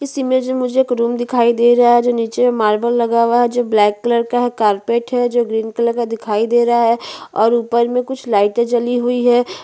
इस में मुझे एक रूम दिखाई दे रहा है जो नीचे मार्बल लगा हुआ है जो ब्लैक कलर का है कार्पेट है जो ग्रीन कलर का दिखाई दे रहा है और ऊपर में कुछ लाइटें जली हुई है।